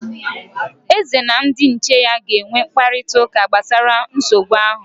Eze na ndị ichie ya ga-enwe mkparịtaụka gbasara nsogbu ahụ